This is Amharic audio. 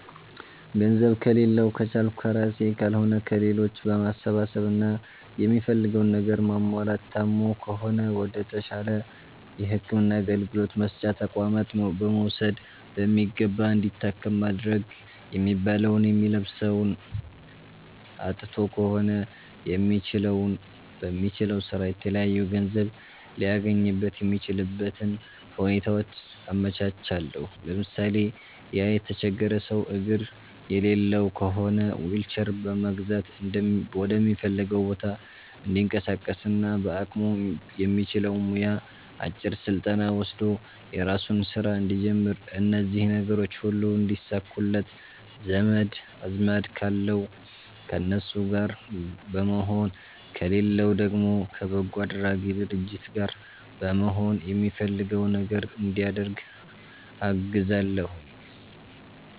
ገንዘብ ከሌላዉ ከቻልኩ ከራሴ ካልሆነ ከሌሎች በማሰባሰብ እና የሚፈልገዉን ነገር ማሟላት ታሞ ከሆነ ወደ ተሻለ የህክምና አገልግሎት መስጫ ተቋማት በመዉሰድ በሚገባ እንዲታከም ማድረግ የሚበላዉ የሚለብሰዉ አጥቶ ከሆነ በሚችለዉ ስራ የተለያዩ ገንዘብ ሊያገኝበት የሚችልበትን ሁኔታዎች አመቻቻለሁ ለምሳሌ፦ ያ የተቸገረ ሰዉ አግር የሌለዉ ከሆነ ዊልቸር በመግዛት ወደሚፈልገዉ ቦታ እንዲንቀሳቀስና በአቅሙ የሚችለዉ ሙያ አጭር ስልጠና ወስዶ የራሱን ስራ እንዲጀምር እነዚህ ነገሮች ሁሉ እንዲሳኩለት ዘመድ አዝማድ ካለዉ ከነሱ ጋር በመሆን ከሌለዉ ደግሞ ከበጎ አድራጊ ድርጅት ጋር በመሆን የሚፈልገዉ ነገር እንዲያደርግ አግዛለሁኝ